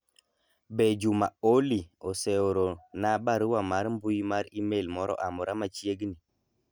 be Juma Olly oseoro na barua mar mbui mar email moro amora machiegni